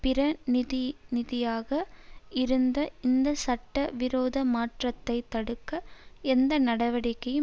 பிரதிநிதியாக இருந்த இந்த சட்ட விரோத மாற்றத்தை தடுக்க எந்த நடவடிக்கையும்